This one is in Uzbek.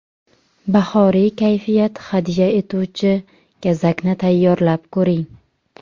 Bahoriy kayfiyat hadya etuvchi gazakni tayyorlab ko‘ring.